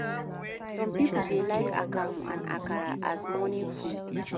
Some pipo dey like akamu and akara as morning food